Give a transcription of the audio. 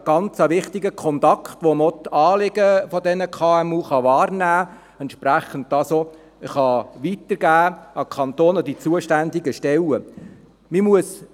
Dies sind wichtige Kontakte, bei denen man auch die Anliegen der KMU wahrnehmen und an die zuständigen Stellen des Kantons weiterleiten kann.